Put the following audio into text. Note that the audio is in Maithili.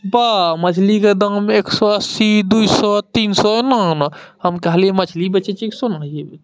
बा मछली के दाम एक सौ अस्सी दुइ सौ तीन सौ न न हम कहली मछली बेचे कि सोना ।